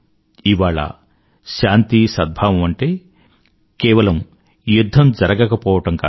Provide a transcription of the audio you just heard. ఇవాళ శాంతి సద్భావం అంటే కేవలం యుధ్ధం జరగకపోవడం కాదు